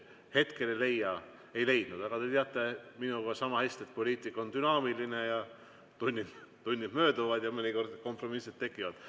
Hetkel ei leidnud, aga te teate minuga sama hästi, et poliitika on dünaamiline ja tunnid mööduvad ja mõnikord kompromissid tekivad.